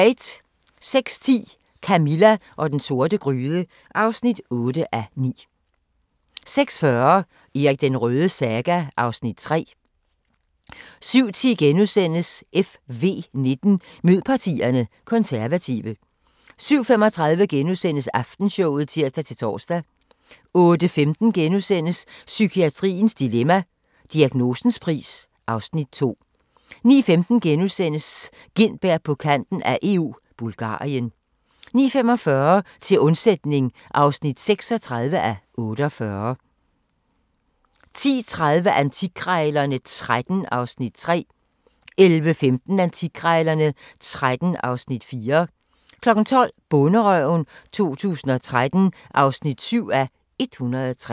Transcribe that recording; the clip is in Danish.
06:10: Camilla og den sorte gryde (8:9) 06:40: Erik den Rødes saga (Afs. 3) 07:10: FV19: Mød partierne – Konservative * 07:35: Aftenshowet *(tir-tor) 08:15: Psykiatriens dilemma – Diagnosens pris (Afs. 2)* 09:15: Gintberg på kanten af EU – Bulgarien * 09:45: Til undsætning (36:48) 10:30: Antikkrejlerne XIII (Afs. 3) 11:15: Antikkrejlerne XIII (Afs. 4) 12:00: Bonderøven 2013 (7:103)